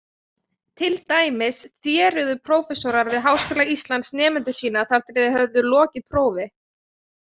Til dæmis þéruðu prófessorar við Háskóla Íslands nemendur sína þar til þeir höfðu lokið prófi.